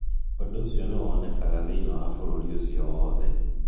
Ũndũ ũcio nĩ wonekaga thĩinĩ wa bũrũri ũcio wothe.